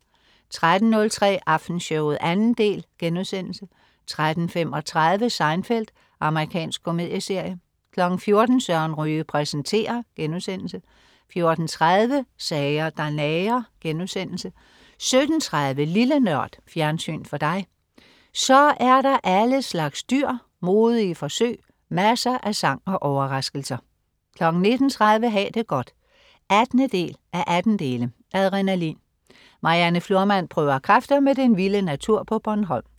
13.05 Aftenshowet 2. del* 13.35 Seinfeld. Amerikansk komedieserie 14.00 Søren Ryge præsenterer* 14.30 Sager der nager* 17.30 Lille Nørd. Fjernsyn for dig. Så er der alle slags dyr, modige forsøg, masser af sang og overraskelser 19.30 Ha' det godt 18:18. Adrenalin. Marianne Florman prøver kræfter med den vilde natur på Bornholm